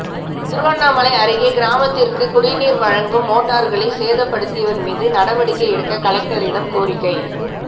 திருவண்ணாமலை அருகே கிராமத்திற்கு குடிநீர் வழங்கும் மோட்டார்களை சேதப்படுத்தியவர் மீது நடவடிக்கை எடுக்க கலெக்டரிடம் கோரிக்கை